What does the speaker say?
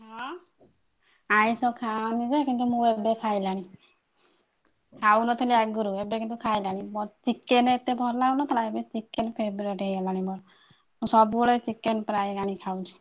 ଅଁ ଆଇଂଷ ଖାଏନି ଯେ କିନ୍ତୁ ମୁଁ ଏବେ ଖାଇଲେଣି ଖାଉନଥିଲି ଆଗରୁ ଏବେ କିନ୍ତୁ ଖାଇଲାଣି chicken ଏତେ ଖାଉନଥିଲି ଏବେ chicken favorite ହେଇଗଲାଣି ମୋର ମୁଁ ସବୁବେଳେ chicken ପ୍ରାୟ ଆଣିକି ଖାଉଛି।